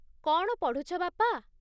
କ'ଣ ପଢ଼ୁଛ, ବାପା ?